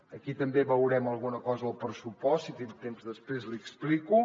aquí també en veurem alguna cosa al pressupost si tinc temps després l’hi explico